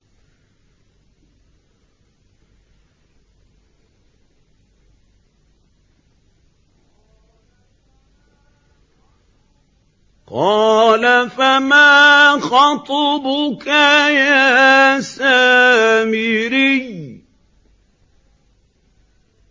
قَالَ فَمَا خَطْبُكَ يَا سَامِرِيُّ